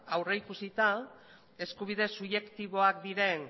aurrikusita eskubide subjektiboak diren